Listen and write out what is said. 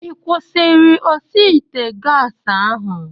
Ị kwụsịrị osi ite gas ahu?